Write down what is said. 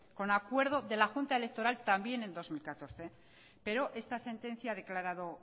con acuerdo de la junta electoral también en dos mil catorce pero esta sentencia ha declarado